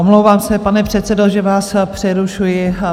Omlouvám se, pane předsedo, že vás přerušuji.